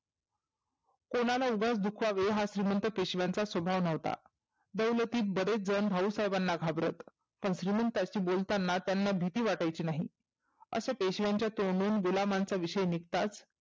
कोणाला उगाच दुखवावे हा श्रिमंत पेशव्यांचा स्वभाव नव्हता. दौलतीत बरेच जण भाऊसाहेबांना घाबरत. पण श्रिमंतांशी बोलतांना त्यांना भिती वाटायची नाही. असा पेशव्यांच्या तोंडून गुलामांचा विषय निघताच